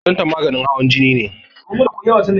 Lozatan maganin hawan jini ne